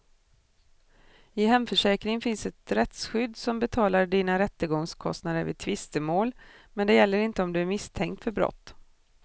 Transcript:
I hemförsäkringen finns ett rättsskydd som betalar dina rättegångskostnader vid tvistemål, men det gäller inte om du är misstänkt för brott.